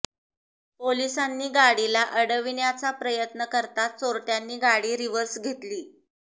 पोलिसांनी गाडीला अडविण्याचा प्रयत्न करताच चोरटयांनी गाडी रिव्हर्स घेतली